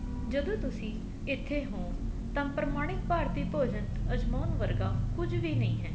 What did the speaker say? ਜਦੋਂ ਤੁਸੀਂ ਇੱਥੇ ਹੋ ਤਾਂ ਪ੍ਰਮਾਣਿਕ ਭਾਰਤੀ ਭੋਜਣ ਅਜਮਾਉਣ ਵਰਗਾ ਕੁੱਝ ਵੀ ਨਹੀਂ ਹੈ